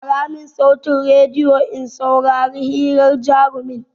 Ƙara mun sautin rediyon in saurari hiran jarumin!